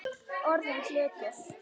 Orðinn hlutur.